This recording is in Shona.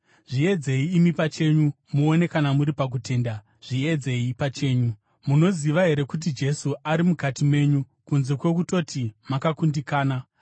Zviedzei imi pachenyu muone kana muri pakutenda; zviedzei pachenyu. Munoziva here kuti Jesu ari mukati menyu, kunze kwokutoti makakundikana?